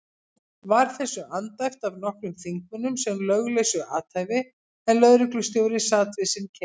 Var þessu andæft af nokkrum þingmönnum sem löglausu athæfi, en lögreglustjóri sat við sinn keip.